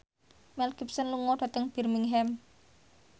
Mel Gibson lunga dhateng Birmingham